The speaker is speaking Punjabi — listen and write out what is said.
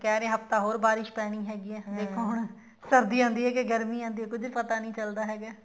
ਕਹਿ ਰਹੇ ਆ ਹਫਤਾ ਹੋਰ ਬਾਰਿਸ਼ ਪੈਣੀ ਹੈ ਦੇਖੋ ਹੁਣ ਸਰਦੀ ਆਉਂਦੀ ਆ ਕੇ ਗਰਮੀ ਆਉਂਦੀ ਆ ਪਤਾ ਨੀ ਚੱਲਦਾ ਹੈਗਾ